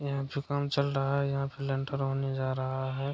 यहाँ जो काम चल रहा है यहाँ पे लेंटर होने जा रहा है।